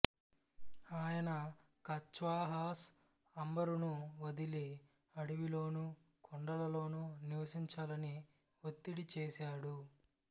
ఆయన కచ్వాహాస్ అంబరును వదిలి అడవిలోనూ కొండలలోనూ నివసించాలని వత్తిడి చేసాడు